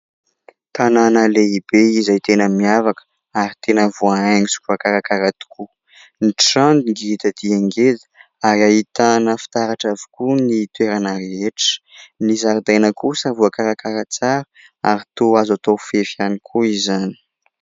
Tanàna lehibe izay tena miavaka ary tena voahaingo sy voakarakara tokoa. Ny trano ngeda dia ngeda ary ahitana fitaratra avokoa ny toerana rehetra. Ny zaridaina kosa voakarakara tsara ary toa azo atao fefy ihany koa izany.